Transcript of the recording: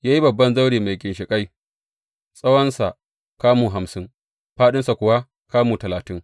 Ya yi babban zaure mai ginshiƙai, tsawonsa kamu hamsin, fāɗinsa kuwa kamu talatin.